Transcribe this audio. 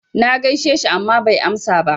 Na gaishe shi amma bai amsa ba.